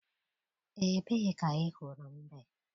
Ebee ka ị hụrụ mbe?